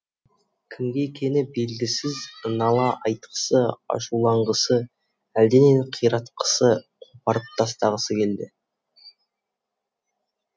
кімге екені белгісіз нала айтқысы ашуланғысы әлденені қиратқысы қопарып тастағысы келді